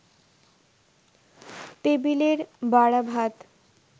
টেবিলের বাড়া ভাত